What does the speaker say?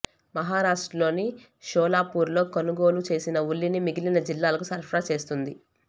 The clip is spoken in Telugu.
మహారాష్ట్రలోని షోలాపూర్లో కొనుగోలు చేసిన ఉల్లిని మిగిలిన జిల్లాలకు సరఫరా చేస్తోంది